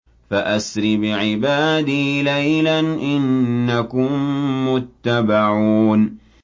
فَأَسْرِ بِعِبَادِي لَيْلًا إِنَّكُم مُّتَّبَعُونَ